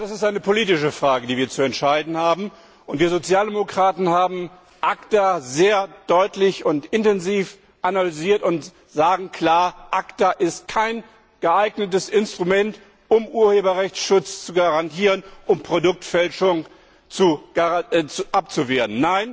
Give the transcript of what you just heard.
Das ist eine politische Frage, die wir zu entscheiden haben, und wir Sozialdemokraten haben ACTA sehr deutlich und intensiv analysiert und sagen klar ACTA ist kein geeignetes Instrument, um Urheberrechtsschutz zu garantieren und Produktfälschung abzuwehren.